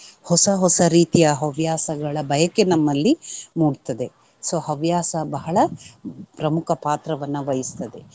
ಹೊಸ ಹೊಸ ರೀತಿಯ ಹವ್ಯಾಸಗಳ ಬಯಕೆ ನಮ್ಮಲ್ಲಿ ಮೂಡ್ತದೆ so ಹವ್ಯಾಸ ಬಹಳ ಪ್ರಮುಖ ಪಾತ್ರವನ್ನ ವಹಿಸ್ತದೆ.